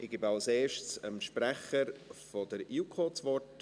Ich gebe als Erstes dem Sprecher der JuKo das Wort: